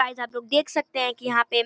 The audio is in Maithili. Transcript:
गाइस आप लोग देख सकते हैं की यहाँ पे --